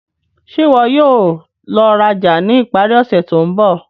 Ṣe iwọ yóò lọ raja ni ipari ose to nbọ?